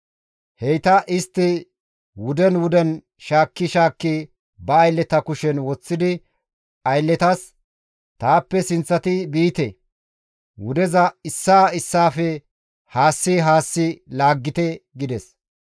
Heyta istti wuden wuden shaakki shaakki ba aylleta kushen woththidi aylletas, «Taappe sinththati biite; wudeza issaa issaafe haassi haassi laaggite» gides.